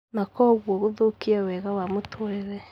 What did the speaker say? na kwoguo gũthũkia wega wa mũtũũrĩre.